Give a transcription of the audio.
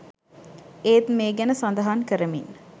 ඒත් මේ ගැන සඳහන් කරමින්